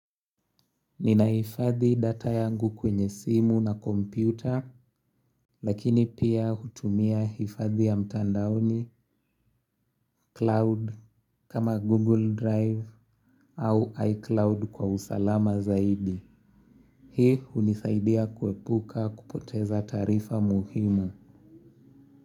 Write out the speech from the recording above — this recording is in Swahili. Ninahifadhi data yangu kwenye simu na kompyuta lakini pia hutumia hifadhi ya mtandaoni cloud kama google drive au iCloud kwa usalama zaidi. Hii hunisaidia kuepuka kupoteza taarifa muhimu.